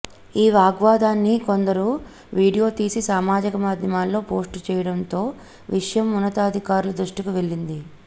ఈ వాగ్వాదాన్ని కొందరు వీడియోతీసి సామాజిక మాధ్యమాల్లో పోస్టు చేయడంతో విషయం ఉన్నతాధికారుల దృష్టికి వెళ్లింది